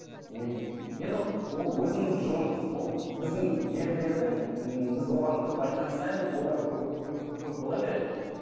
не енді ол өзіңіздің жолыңыз ол біздің ерлердің ііі біз оған көп айтқан сайын олар көп көп көп бола береді